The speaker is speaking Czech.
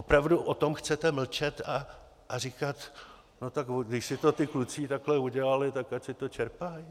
Opravdu o tom chcete mlčet a říkat: no tak když si to ti kluci takhle udělali, tak ať si to čerpají?